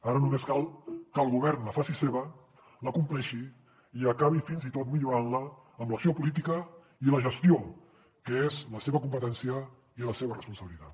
ara només cal que el govern la faci seva la compleixi i acabi fins i tot millorant la amb l’acció política i la gestió que és la seva competència i la seva responsabilitat